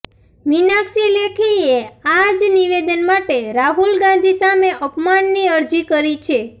મીનાક્ષી લેખીએ આ જ નિવેદન માટે રાહુલ ગાંધી સામે અપમાનની અરજી કરી છે